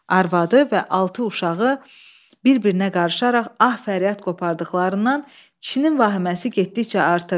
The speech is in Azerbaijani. Arvadı və altı uşağı bir-birinə qarışaraq ah fəryad qopardıqlarından kişinin vahiməsi getdikcə artırdı.